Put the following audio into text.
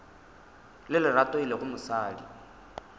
le lerato e lego mosadi